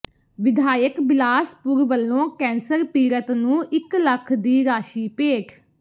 ਵਿਧਾਇਕ ਬਿਲਾਸਪੁਰ ਵੱਲੋਂ ਕੈਂਸਰ ਪੀੜਤ ਨੂੰ ਇੱਕ ਲੱਖ ਦੀ ਰਾਸ਼ੀ ਭੇਟ